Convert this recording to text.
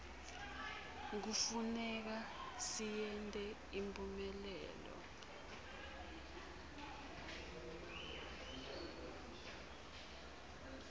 kufuneka siyente iphumelele